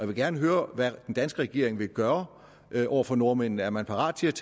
vil gerne høre hvad den danske regering vil gøre over for nordmændene er man parat til at